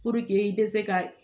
Puruke i bɛ se ka